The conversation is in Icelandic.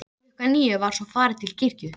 Klukkan níu var svo farið til kirkju.